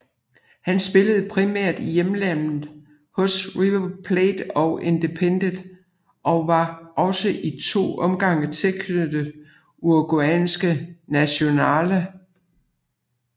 Han spillede primært i hjemlandet hos River Plate og Independiente og var også i to omgange tilknyttet uruguayanske Nacional